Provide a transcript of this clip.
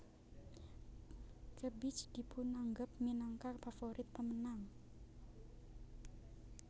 Kebich dipunanggep minangka pavorit pamenang